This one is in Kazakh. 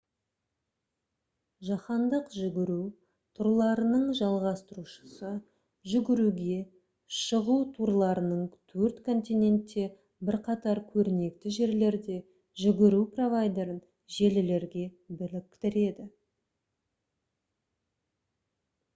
жаһандық жүгіру турларының жалғастырушысы жүгіруге шығу турларының төрт континентте бірқатар көрнекті жерлерде жүгіру провайдерін желілерге біріктіреді